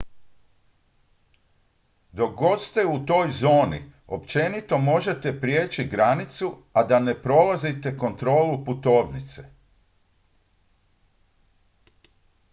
dok god ste u toj zoni općenito možete prijeći granicu a da ne prolazite kontrolu putovnice